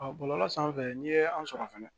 bɔlɔlɔ sanfɛ n'i ye an sɔrɔ fɛnɛ